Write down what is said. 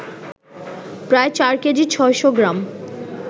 প্রায় চার কেজি ৬শ’ গ্রাম